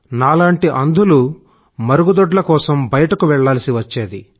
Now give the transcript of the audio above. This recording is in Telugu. నాలాంటి అంధులు మరుగుదొడ్ల కోసం బయటకు వెళ్లాల్సి వచ్చేది